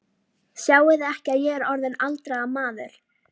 Sjáiði ekki að ég er orðinn aldraður maður?